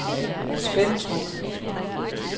Spentrup